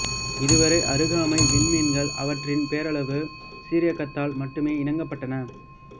இதுவரை அருகாமை விண்மீன்கள் அவற்றின் பேரளவு சீரியக்கத்தால் மட்டுமே இனங்காணப்பட்டன